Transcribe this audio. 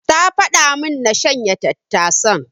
Ta faɗa min na shanya tattasan.